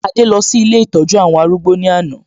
Adé lọ sí ilé ìtọ́jú àwọn arúgbó ní àná